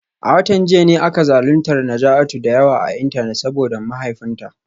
A watan jiya ne aka zaluntar Najatu da yawa a Intanet saboda mahaifinta